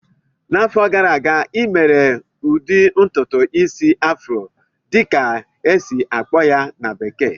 N'afọ gara aga, ị mere ụdị ntụtụ isi "afro" dịka a esi-akpọ ya na bekee?